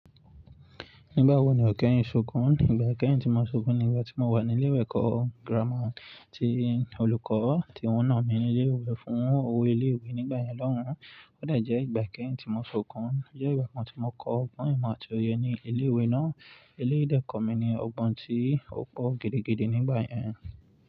Nígbà wo ni ọ̀ keyin ṣokùn? Ìgbà kẹ́yìn tí mo ṣokùn ni ìgbà tí mo wà ní ilé ẹ̀kọ́ gírámà ti Olùkọ́ tí wọ́n nà mí ní ilé ìwé fún owó ilé ìwé nígbà yẹn lọ́hùn. Ó de jẹ́ ìgbà ikeyìn tí mo ṣokùn, jẹ́ ìgbà kan tí mo kọ ọgbọ́n ìmọ̀ àti òye ní ilé ìwé náà. Ilé dẹ́ kọ̀ọ́ mi ni ọgbọ́n tí ó pọ̀ gidigidi nígbà yẹn.